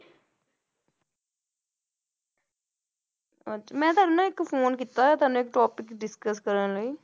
ਅੱਛਾ ਮੈਂ ਤੁਹਾਨੂੰ ਨਾ ਇੱਕ phone ਕੀਤਾ ਤੁਹਾਨੂੰ ਇੱਕ topic discuss ਕਰਨ ਲਈ,